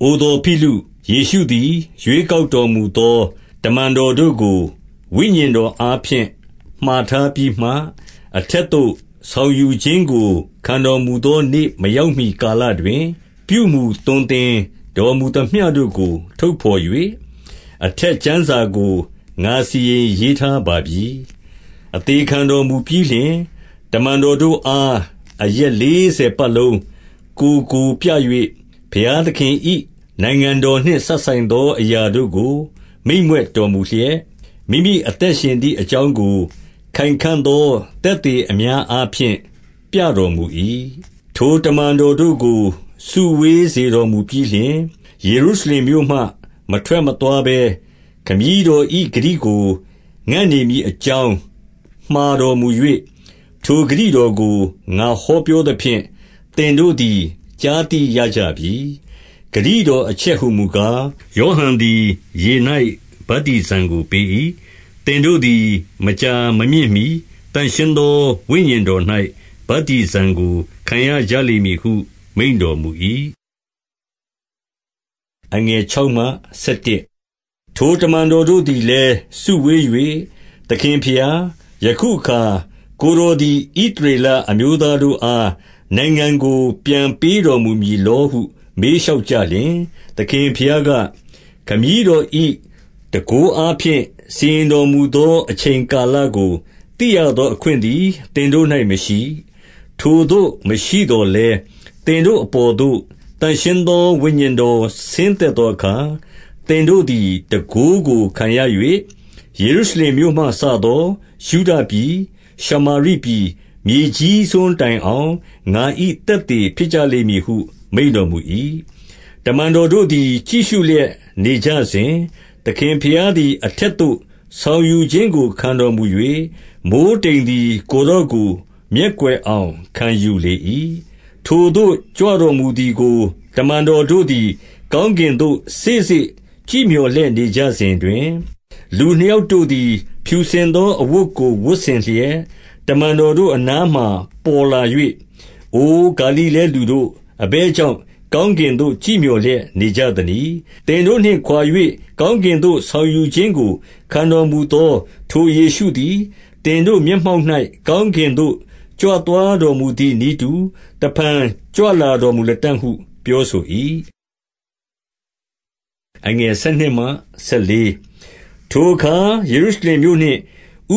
အိုသော်ဖိလု၊ ယေရှုသည် ရွေးကောက်တော်မူသော တမန်တော်တို့ကို ဝိညာဉ်တော်အားဖြင့် မှာထား ပြီးမှ၊ အထက်သို့ဆောင်ယူခြင်းကို ခံတော်မူသမျှတို့ကိုထုတ်ဘော်၍၊ အထက်ကျမ်းစာကို ငါစီရင်ရေး ထားပါပြီ။ အသေခံတော်မူပြီးလျှင်၊ တမန်တော်တို့အား အရက်လေးဆယ်ပတ်လုံးကိုယ်ကိုပြ၍ ဘုရားသခင်၏ နိုင်ငံတော်နှင့်စပ်ဆိုင်သောအရာတို့ကို မိန့်မြွက်တော်မူလျက်၊ မိမိအသက်ရှင်သည်အကြောင်းကို ခိုင်ခံ့သော သက်သေအများအားဖြင့် ပြတော်မူ၏။ ထိုတမန်တော်တို့ကို စုဝေးစေတော်မူပြီးလျှင်၊ ယေရုရှလင်မြို့မှမထွက်မသွားဘဲ ခမည်းတော်၏ ဂတိ ကိုငံ့နေမည်အကြောင်း မှာတော်မူ၍၊ ထိုဂတိတော်ကို ငါဟောပြောသဖြင့် သင်တို့သည်ကြားသိရကြပြီ။ ဂတိတော်အချက်ဟူမူကား၊ ယောဟန်သည်ရေ၌ဗတ္တိဇံကိုပေး၏။ သင်တို့သည် မကြာမမြင့်မှီ သန့်ရှင်း သောဝိညာဉ်တော်၌ ဗတ္တိဇံကိုခံရကြလိမ့်မည်ဟုမိန့်တော်မူ၏။ ထိုတမန်တော်တို့သည်လည်းစုဝေး၍၊ သခင်ဘုရား၊ ယခုအခါကိုယ်တော်သည် ဣသရေလ အမျိုးသား တို့အား နိုင်ငံကိုပြန်ပေးတော်မူမည်လောဟု မေးလျှောက်ကြလျှင်၊ သခင်ဘုရားက၊ ခမည်းတော်၏ တန်ခိုးအားဖြင့်စီရင်တော်မူသောအချိန်ကာလကို သိရသောအခွင့် သည် သင်တို့၌မရှိ။ ထိုသို့မရှိသော်လည်း၊ သင်တို့အပေါ်သို့ သန့်ရှင်းသောဝိညာဉ်တော်ဆင်းသက်သောအခါ သင်တို့သည် တန်ခိုးကိုခံရ၍ ယေရုရှလင်မြို့မှစသော ယုဒပြည်၊ ရှမာရ်ပြည်၊ မြေကြီးစွန်းတိုင်အောင် ငါ၏သက်သေဖြစ်ကြ လိမ့်မည်ဟု မိန့်တော်မူ၏။ တမန်တော်တို့သည် ကြည့်ရှုလျက်နေကြစဉ်၊ သခင်ဘုရားသည် အထက်သို့ဆောင်ယူခြင်းကို ခံတော် မူ၍၊ မိုဃ်းတိမ်သည် ကိုယ်တော်ကိုမျက်ကွယ်အောင် ခံယူလေ၏။ ထိုသို့ကြွတော်မူသည်ကို တမန်တော်တို့သည် ကောင်းကင်သို့ စေ့စေ့ကြည့်မျှော်လျက် နေကြစဉ်တွင်၊ လူနှစ်ယောက်တို့သည် ဖြူစင်သောအဝတ်ကို ဝတ်ဆင်လျက် တမန်တော်တို့အနားမှာပေါ်လာ၍၊ အိုဂါလိလဲလူတို့၊ အဘယ်ကြောင့်ကောင်းကင်သို့ ကြည့်မျှော်လျက်နေကြသနည်း။ သင်တို့နှင့်ခွါ၍ ကောင်းကင်သို့ဆောင်ယူခြင်းကို ခံတော်မူသောထိုယေရှုသည် သင်တို့မျက်မှောက်၌ ကောင်းကင်သို့ ကြွသွား တော်မူသည်နည်းတူ တဖန်ကြွလာတော်မူလတံ့ ဟုပြောဆို၏။ ထိုအခါ ယေရုရှလင်မြို့နှင့်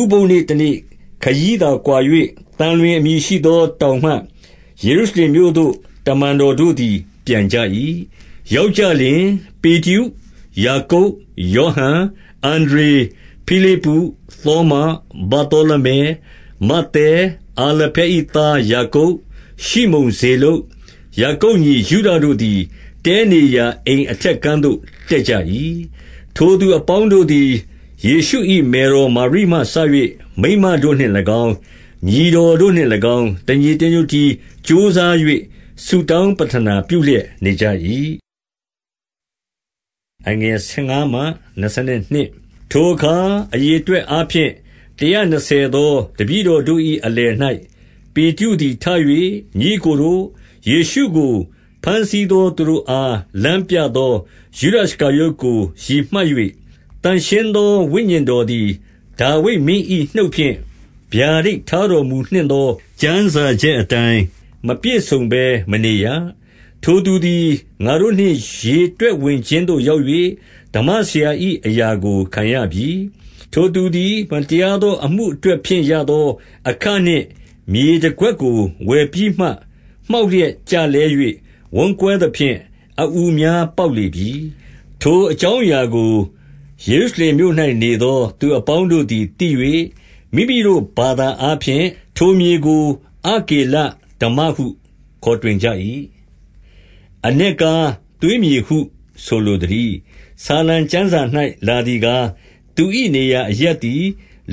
ဥပုသ်နေ့တနေ့ခရီးသာကွာ၍ သံလွင်အမည်ရှိသောတောင်မှ ယေရုရှလင် မြို့သို့ တမန်တော်တို့သည် ပြန်ကြ၏။ ရောက်ကြလျှင်၊ ပေတရု၊ ယာကုပ်၊ ယောဟန်၊ အန္ဒြေ၊ ဖိလိပ္ပု၊ သောမ၊ ဗာသောလမဲ၊ မဿဲ၊ အာလဖဲ၏သားယာကုပ်၊ ရှိမုန်ဇေလုတ်၊ ယာကုပ်ညီ ယုဒတို့သည် တည်းနေရာအိမ်အထက်ခန်းသို့တက်ကြ၏။ ထိုသူအပေါင်းတို့သည် ယေရှု၏မယ်တော်မာရိမှစ၍ မိန်းမတို့နှင့်၎င်း၊ ညီတော်တို့နှင့်၎င်း၊ တညီ တညွတ်တည်းကြိုးစား၍ ဆုတောင်းပဌနာပြုလျက် နေကြ၏။ ထိုအခါအရေအတွက်အားဖြင့် တရာနှစ်ဆယ်သောတပည့်တော်တို့၏အလယ်၌ ပေတရုသည်ထ၍၊ ညီအစ်ကိုတို့၊ ယေရှုကိုဘမ်းဆီးသောသူတို့အား လမ်းပြသောယုဒရှကာရုတ်ကို ရည်မှတ်၍ သန့်ရှင်း သောဝိညာဉ်တော်သည်ဒါဝိဒ်မင်း၏နှုတ်ဖြင့် ဗျာဒိတ်ထားတော်မူနှင့်သော ကျမ်းစာချက်အတိုင်း မပြည့်စုံဘဲ မနေရ။ ထိုသူသည် ငါတို့နှင့် ရေတွက်ဝင်ခြင်းသို့ရောက်၍ ဓမ္မဆရာ၏အရာကိုခံရပြီ။ ထိုသူသည် မတရားသောအမှုအတွက်ဖြင့်ရသောအခနှင့် မြေတကွက်ကိုဝယ်ပြီးမှ၊ မှောက်လျက်ကျ လဲ၍ ဝမ်းကွဲသဖြင့် အအူများပေါက်လေပြီ။ ထိုအကြောင်းအရာကို ယေရုရှလင်မြို့၌နေသော သူအပေါင်းတို့သည်သိ၍ မိမိတို့ဘာသာအားဖြင့် ထို မြေကို အကေလဒဟုခေါ်တွင်ကြ၏။ အနက်ကားသွေးမြေဟု ဆိုလိုသတည်း။ ဆာလံကျမ်းစာ၌လာသည်ကား၊ သူ၏နေရာအရပ်သည်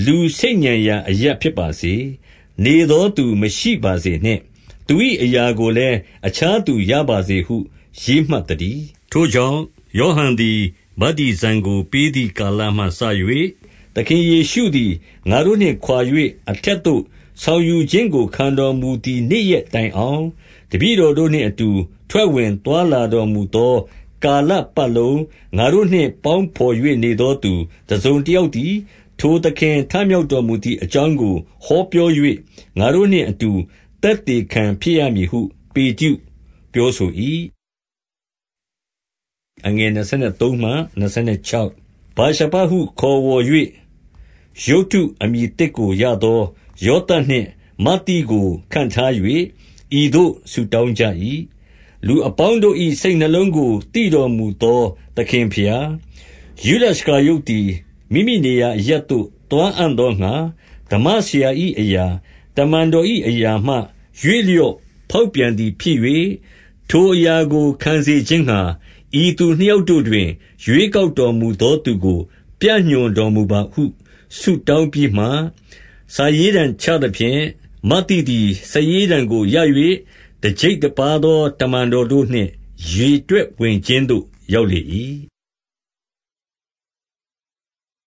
လူဆိတ်ညံရာအရပ်ဖြစ်ပါစေ။ နေသောသူ မရှိပါစေနှင့်။ သူ၏အရာကိုလည်းအခြားသူရပါစေဟု ရေးမှတ်သတည်း။ ထိုကြောင့် ဟောဟန်သည် ဗတ္တိဇံကို ပေးသည်ကာလမှစ၍၊ သခင်ယေရှုသည် ငါတို့နှင့်ခွါ၍အထက်သို့ဆောင်ယူခြင်းကို ခံတော်မူသည့်နေ့ရက်တိုင်အောင်၊ တပည့် တော်တို့နှင့်အတူ ထွက်ဝင်သွားလာတော်မူသောကာလပတ်လုံး ငါတို့နှင့်ပေါင်းဘော်၍နေသောသူတစုံတ ယောက်သည်၊ ထိုသခင်ထမြောက်တော်မူသည် အကြောင်းကိုဟောပြော၍ ငါတို့နှင့်အတူသက်သေခံဖြစ် ရမည် ဟု ပေတရုပြောဆို၏။ ဗာရှဗဟု ခေါ်ဝေါ်၍ ယုတ္တုအမည်သစ်ကိုရသော ယောသပ်နှင့်မဿိကိုခန့်ထား၍၊ ဤသို့ဆုတောင်းကြ၏။ လူအပေါင်းတို့၏ စိတ်နှလုံးကိုသိတော်မူသောသခင်ဘုရား၊ ယုဒရှကာရုတ်သည် မိမိနေရာအရပ်သို့ သွားအံ့သောငှါ ဓမ္မဆရာ၏အရာ၊ တမန်တော်၏အရာမှရွေ့လျော့ဖောက်ပြန်သည်ဖြစ်၍၊ ထိုအရာကိုခံစေ ခြင်းငှါ ဤသူနှစ်ယောက်တို့တွင် ရွေးကောက်တော်မူသောသူကို ပြညွှန်တော်မူပါဟု ဆုတောင်းပြီးမှ၊ စာရေးတံချကြသဖြင့် မဿိသည်စာရေးတံကိုရ၍၊ တကျိပ်တပါးသောတမန်တော်တို့နှင့် ရေတွက်ဝင် ခြင်းသို့ရောက်လေ၏။